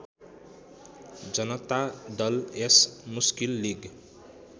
Janata Dal S Muslim league